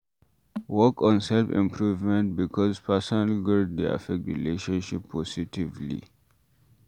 Work on self improvement because personal growth dey affect relationship positively